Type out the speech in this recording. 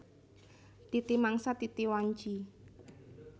Titi mangsa titi wanci